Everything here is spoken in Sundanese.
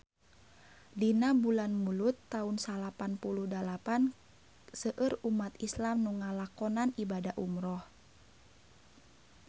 Dina bulan Mulud taun salapan puluh dalapan seueur umat islam nu ngalakonan ibadah umrah